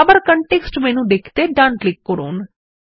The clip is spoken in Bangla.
আবার কনটেক্সট মেনু দেখতে ডান ক্লিক করুন